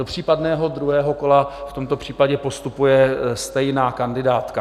Do případného druhého kola v tomto případě postupuje stejná kandidátka.